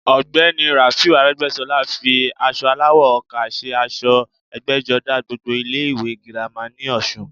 Ọ̀gbẹ́ni i Ràúfù Arẹ́gbẹ́sọlá fi aṣọ aláwọ̀ ọkà se aṣọ ẹgbẹ́jọdá gbogbo ilé ìwé girama ní ọ̀sun